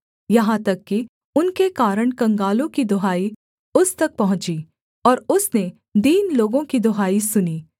यहाँ तक कि उनके कारण कंगालों की दुहाई उस तक पहुँची और उसने दीन लोगों की दुहाई सुनी